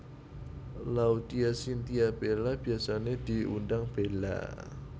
Laudya Chintya Bella biyasané diundang Bella